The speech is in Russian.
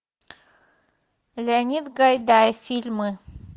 леонид гайдай фильмы